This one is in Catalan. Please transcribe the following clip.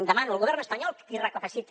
demano al govern espanyol que recapaciti